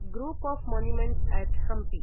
group of monuments at Hampi